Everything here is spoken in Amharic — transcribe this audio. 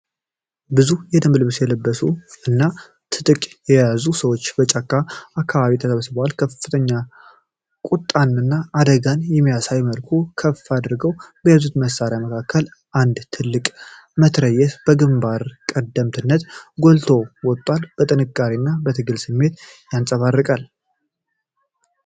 ብዙ የደንብ ልብስ የለበሱ እና ትጥቅ የያዙ ሰዎች በጫካማ አካባቢ ተሰብስበዋል። ከፍተኛ ቁጣን እና አደጋን በሚያሳይ መልኩ ከፍ አድርገው በያዙት መሣሪያ መካከል፣ አንድ ትልቅ መትረጊስ በግንባር ቀደምትነት ጎልቶ ወጥቷል። የጥንካሬና የትግል ስሜት ይንጸባረቃል።